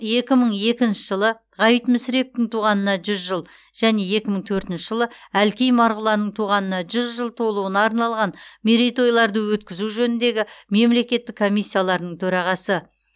екі мың екінші жылы ғабит мүсіреповтің туғанына жүз жыл және екі мың төртінші жылы әлкей марғұланның туғанына жүз жыл толуына арналған мерейтойларды өткізу жөніндегі мемлекеттік комиссияларының төрағасы